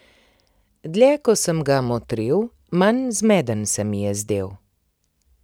Dlje ko sem ga motril, manj zmeden se mi je zdel.